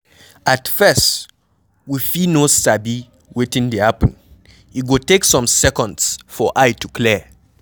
At first we fit no sabi wetin dey happen, e go take some seconds for eye to clear